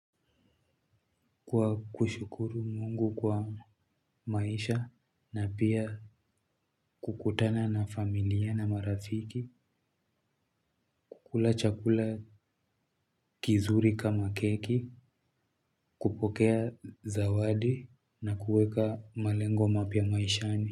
Kwa kushukuru Mungu kwa maisha na pia kukutana na familia na marafiki kula chakula kizuri kama keki, kupokea zawadi na kuweka malengo mapya maishani.